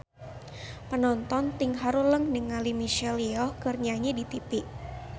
Panonton ting haruleng ningali Michelle Yeoh keur nyanyi di tipi